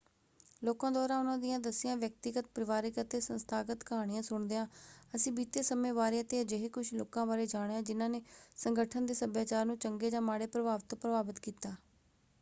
ਲੋਕਾਂ ਦੁਆਰਾ ਉਨ੍ਹਾਂ ਦੀਆਂ ਦੱਸੀਆਂ ਵਿਅਕਤੀਗਤ ਪਰਿਵਾਰਕ ਅਤੇ ਸੰਸਥਾਗਤ ਕਹਾਣੀਆਂ ਸੁਣਦਿਆਂ ਅਸੀਂ ਬੀਤੇ ਸਮੇਂ ਬਾਰੇ ਅਤੇ ਅਜਿਹੇ ਕੁੱਝ ਲੋਕਾਂ ਬਾਰੇ ਜਾਣਿਆ ਜਿਨ੍ਹਾਂ ਨੇ ਸੰਗਠਨ ਦੇ ਸੱਭਿਆਚਾਰ ਨੂੰ ਚੰਗੇ ਜਾਂ ਮਾੜੇ ਪ੍ਰਭਾਵ ਤੋਂ ਪ੍ਰਭਾਵਤ ਕੀਤਾ।